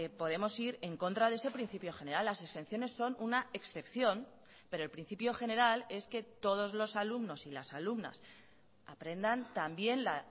podemos ir en contra de ese principio general las exenciones son una excepción pero el principio general es que todos los alumnos y las alumnas aprendan también la